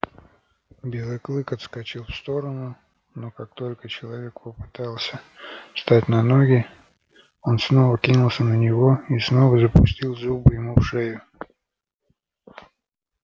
белый клык отскочил в сторону но как только человек попытался встать на ноги он снова кинулся на него и снова запустил зубы ему в шею